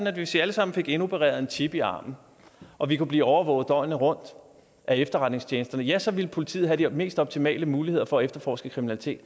at hvis vi alle sammen fik indopereret en chip i armen og vi kunne blive overvåget døgnet rundt af efterretningstjenesterne ja så ville politiet have de mest optimale muligheder for at efterforske kriminalitet